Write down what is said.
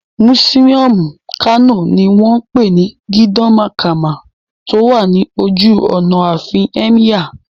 Mùsíọ̀mù Kano ní wọ́n pè ní Gidan Makama tó wà ní ojú ọ̀nà àfin Ẹ́míyà